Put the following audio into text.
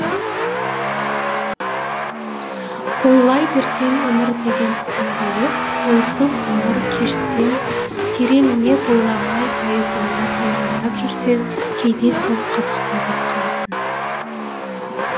ойлай берсең өмір деген тұңғиық ойсыз ғұмыр кешсең тереңіне бойламай тайызында тайраңдап жүрсең кейде сол қызық па деп қаласың